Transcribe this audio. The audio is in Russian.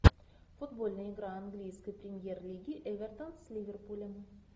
футбольная игра английской премьер лиги эвертон с ливерпулем